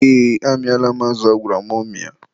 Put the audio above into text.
ee, amịala m azụ agwara m mịa.